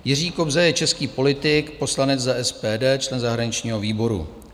Jiří Kobza je český politik, poslanec za SPD, člen zahraničního výboru.